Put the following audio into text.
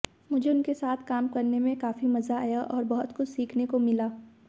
मुझे उनके साथ काम करने में काफी मजा आया और बहुत कुछ सीखने भी मिला